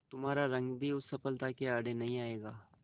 तुम्हारा रंग भी उस सफलता के आड़े नहीं आएगा